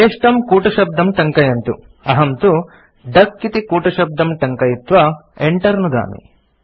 स्वेष्टं कूटशब्दं टङ्कयन्तु अहं तु डक इति कूटशब्दं टङ्कयित्वा Enter नुदामि